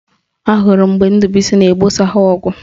Ahụrụ m mgbe Ndubuisi na-egbosa ha ọgụ